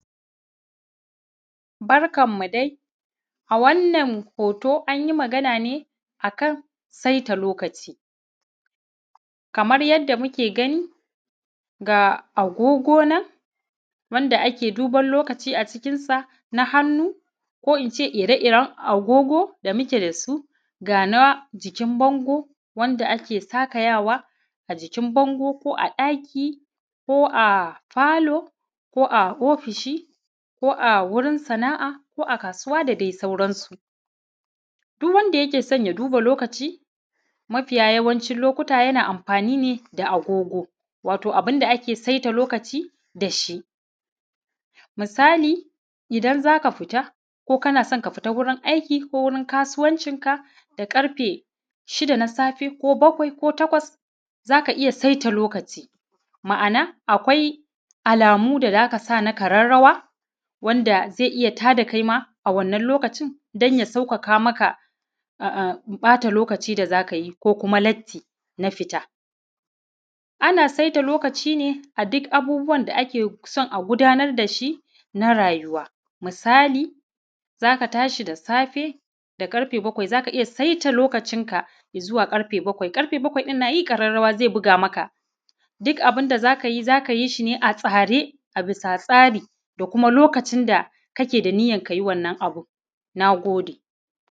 Barkanmu dai a wannan hoto an yi magana ne a kan saita lokaci Kamar yadda muke gani ga agogo nan wanda ake duban lokacin a cikinsa na hannu ko in ce ire-iren agogo da muke da su na hannu na jikin bango da ake sakayawa a jikin bango ko a ɗaki ko a falo ko a ofishi ko a wurin sana'a ko a kasuwa da dai sauransu. Duk wanda yake son ya duba lokaci mafiya yawanci lokuta yana duba agogo, to abinda ake saita lokaci da shi. Misali idan za ka fita ko kana son ka fita wajen aiki ko kasuwancinka da karfe shida na safe ko bakwai ko takwas za ka iya saita lokaci. Ma'ana akwai alamu da za ka sa na ƙararrawa wanda zai iya tada kaima a wannan lokaci zai taimaka don sa sauƙaƙa maka ɓata lokaci da za ka yi ko kuma latti na fita. Ana saita lokaci a duk abubuwan da aka son a gudanar da shi na rayuwa, misali za ka tashi da safe karfe bakwai za ka iya saita lokacin ka ya zuwa ƙarfe bakwai, ƙarfe bakwai ɗin na yi ƙararrawa zai buga maka. Duk abun da za ka yi shi ne za ka yi ne a tsare a bisa tsari da kuma lokacin da kake da niyyar ka yi wannan abu na gode.